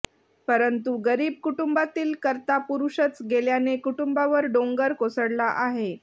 परंतु गरीब कुटुंबातील करता पुरुषच गेल्याने कुटुंबावर डोंगर कोसळला आहे